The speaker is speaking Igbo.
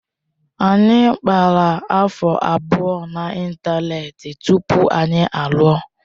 Anyị kpawara afọ abụọ na ịntanetị tupu anyị alụọ.